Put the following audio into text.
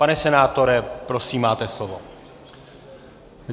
Pane senátore, prosím, máte slovo.